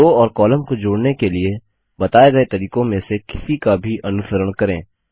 रो और कॉलम को जोड़ने के लिए बताए गए तरीकों में से किसी का भी अनुसरण करें